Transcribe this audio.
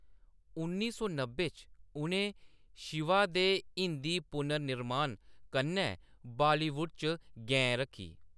उन्नी सौ नब्बै च उʼनें शिवा दे हिंदी पुनर्निर्माण कन्नै बालीवुड च गैं रक्खी।